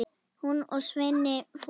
Hún og Svenni voru eitt.